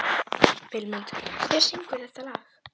Vilmundur, hver syngur þetta lag?